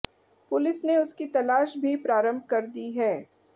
police ने उसकी तलाश भी प्रारंभ कर दी है